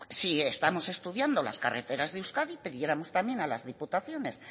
si estamos estudiando las carreteras de euskadi y pidiéramos también a las diputaciones